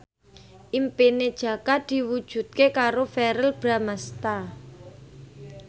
impine Jaka diwujudke karo Verrell Bramastra